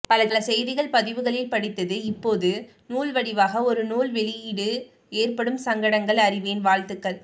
பல செய்திகள் பதிவுகளில் படித்தது இப்போது நூல்வடிவாக ஒரு நூல் வெளியிட ஏற்படும் சங்கடங்கள் அறிவேன் வாழ்த்துகள்